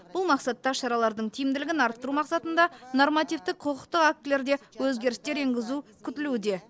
бұл мақсатта шаралардың тиімділігін арттыру мақсатында нормативтік құқықтық актілерде өзгерістер енгізу күтілуде